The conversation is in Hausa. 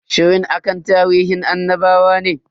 Shirin akan tarihin annabawa ne.